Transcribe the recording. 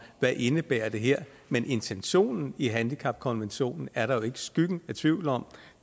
hvad det indebærer her men intentionen i handicapkonventionen er der jo ikke skyggen af tvivl om